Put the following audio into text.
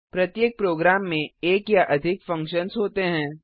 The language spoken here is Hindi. प्रत्येक प्रोग्राम में एक या अधिक फंक्शन्स होते हैं